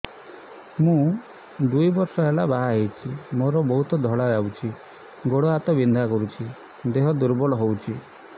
ମୁ ଦୁଇ ବର୍ଷ ହେଲା ବାହା ହେଇଛି ମୋର ବହୁତ ଧଳା ଯାଉଛି ଗୋଡ଼ ହାତ ବିନ୍ଧା କରୁଛି ଦେହ ଦୁର୍ବଳ ହଉଛି